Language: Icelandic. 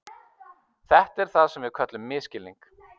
Þetta er það sem við köllum misskilning.